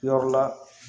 Yɔrɔ la